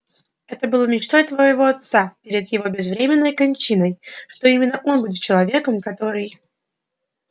это было мечтой твоего отца перед его безвременной кончиной что именно он будет человеком который